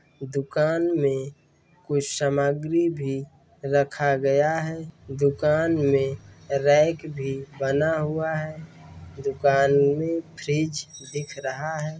दुकान मे कोई सामग्री भी रखा गया है दुकान मे रैक भी बना हुवा है दुकान मे फ्रिज दिख रहा है।